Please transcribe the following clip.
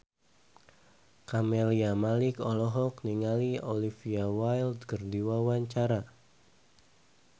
Camelia Malik olohok ningali Olivia Wilde keur diwawancara